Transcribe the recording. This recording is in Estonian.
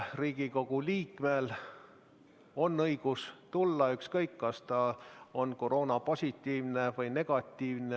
Riigikogu liikmel on õigus kohale tulla, ükskõik, kas tal on koroonatest positiivne või negatiivne.